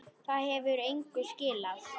Það hefur engu skilað.